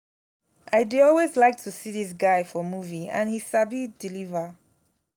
i dey always like to see dis guy for movie and he sabi deliver